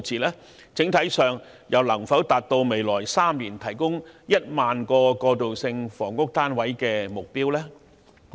在整體上，又能否達致在未來3年提供1萬個過渡性房屋單位的目標？